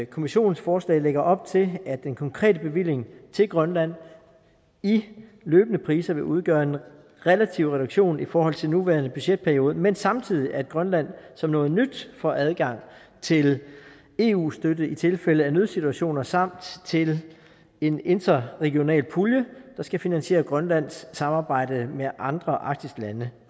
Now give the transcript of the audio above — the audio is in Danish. kommissionens forslag lægger op til at den konkrete bevilling til grønland i løbende priser vil udgøre en relativ reduktion i forhold til den nuværende budgetperiode men samtidig at grønland som noget nyt får adgang til eu støtte i tilfælde af nødsituationer samt til en interregionale pulje der skal finansiere grønlands samarbejde med andre arktiske lande